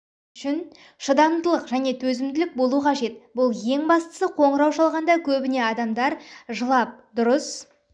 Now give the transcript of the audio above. үшін шыдамдылық және төзімділік болу қажет бұл ең бастысы қоңырау шалғанда көбінесе адамдар жылап дұрыс